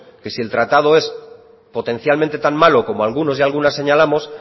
que si el tratado es potencialmente tan malo como algunas y algunos señalamos